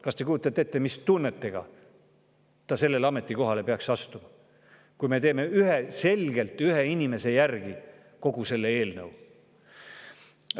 Kas te kujutate ette, mis tunnetega ta sellesse ametisse peaks astuma, kui me teeme selgelt ühe inimese järgi kogu selle eelnõu?